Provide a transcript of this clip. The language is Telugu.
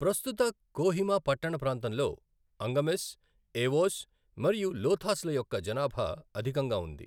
ప్రస్తుత కోహిమా పట్టణప్రాంతంలో అంగమిస్, ఏవోస్ మరియు లోథాస్ల యొక్క జనాభా అధికంగా ఉంది.